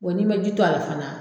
Wa n'i man ji to a la fana